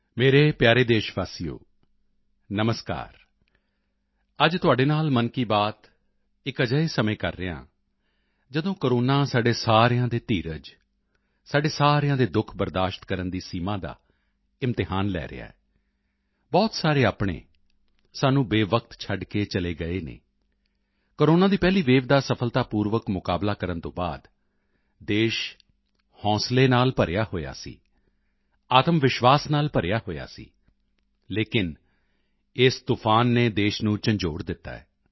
ਮੇਰੇ ਪਿਆਰੇ ਦੇਸ਼ਵਾਸੀਓ ਨਮਸਕਾਰ ਅੱਜ ਤੁਹਾਡੇ ਨਾਲ ਮਨ ਕੀ ਬਾਤ ਇੱਕ ਅਜਿਹੇ ਸਮੇਂ ਕਰ ਰਿਹਾ ਹਾਂ ਜਦੋਂ ਕੋਰੋਨਾ ਸਾਡੇ ਸਾਰਿਆਂ ਦੇ ਧੀਰਜ ਸਾਡੇ ਸਾਰਿਆਂ ਦੇ ਦੁੱਖ ਬਰਦਾਸ਼ਤ ਕਰਨ ਦੀ ਸੀਮਾ ਦਾ ਇਮਤਿਹਾਨ ਲੈ ਰਿਹਾ ਹੈ ਬਹੁਤ ਸਾਰੇ ਆਪਣੇ ਸਾਨੂੰ ਬੇਵਕਤ ਛੱਡ ਕੇ ਚਲੇ ਗਏ ਹਨ ਕੋਰੋਨਾ ਦੀ ਪਹਿਲੀ ਵੇਵ ਦਾ ਸਫਲਤਾਪੂਰਵਕ ਮੁਕਾਬਲਾ ਕਰਨ ਤੋਂ ਬਾਅਦ ਦੇਸ਼ ਹੌਂਸਲੇ ਨਾਲ ਭਰਿਆ ਹੋਇਆ ਸੀ ਆਤਮਵਿਸ਼ਵਾਸ ਨਾਲ ਭਰਿਆ ਹੋਇਆ ਸੀ ਲੇਕਿਨ ਇਸ ਤੂਫਾਨ ਨੇ ਦੇਸ਼ ਨੂੰ ਝੰਜੋੜ ਦਿੱਤਾ ਹੈ